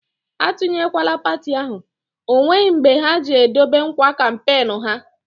A tunyekwala parti ahụ, ọ nweghị mbe ha ji e dobe nkwa kampenu ha!